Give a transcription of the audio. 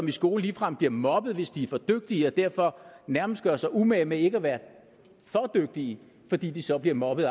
i skolen ligefrem bliver mobbet hvis de er for dygtige og derfor nærmest gør sig umage med ikke at være for dygtige fordi de så bliver mobbet